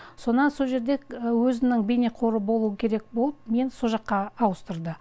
сонан со жерде өзінің бейнеқоры болуы керек болып мені сол жаққа ауыстырды